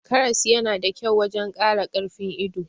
Karas yana da kyau wajan Kara karfin ido